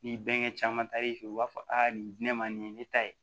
Ni bɛnkɛ caman taar'i fɛ yen u b'a fɔ aa nin di ne ma nin ye ne ta ye